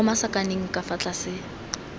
mo masakaneng ka fa tlase